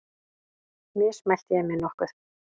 Mismælti ég mig nokkuð?